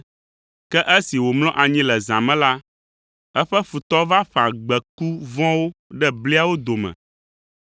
ke esi wòmlɔ anyi le zã me la, eƒe futɔ va ƒã gbeku vɔ̃wo ɖe bliawo dome.